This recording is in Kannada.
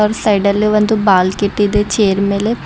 ಆ ಸೈಡಲ್ಲಿ ಒಂದು ಬಲ್ ಕೆಟ್ ಇದೆ ಚೇರ್ ಮೇಲೆ--